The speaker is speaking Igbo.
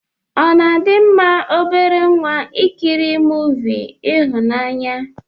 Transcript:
Ọna adi mma obere nwa ikiri movi ihụnanya?